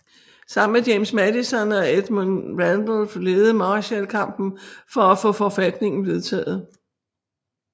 Sammen med James Madison og Edmund Randolph ledede Marshall kampen for at få forfatningen vedtaget